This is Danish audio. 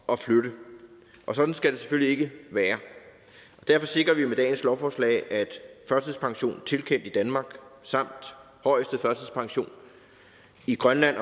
at flytte og sådan skal det selvfølgelig ikke være derfor sikrer vi med dette lovforslag at førtidspension tilkendt i danmark samt højeste førtidspension i grønland